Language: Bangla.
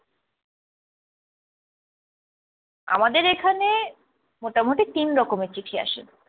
আমাদের এখানে মোটামোটি তিন রকমের চিঠি আসে।